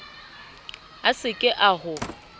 a se ke a ho